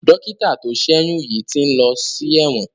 Dọ́kítà tó ṣẹ́yún yìí ti ń lọ sí ẹ̀wọ̀n.